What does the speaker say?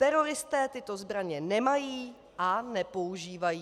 Teroristé tyto zbraně nemají a nepoužívají.